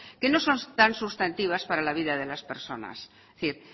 que no son tan substantivas para la vida de las personas es decir